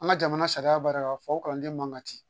An ka jamana sariya b'a la k'a fɔ o kalanden man ka ci